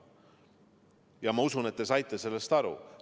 Ja ma usun, et te saite sellest aru.